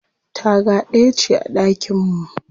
Taga ɗaya ce a ɗakin mu.